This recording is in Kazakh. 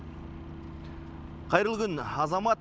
қайырлы күн азамат